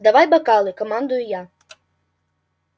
давай бокалы командую я